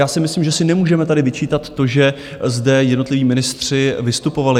Já si myslím, že si nemůžeme tady vyčítat to, že zde jednotliví ministři vystupovali.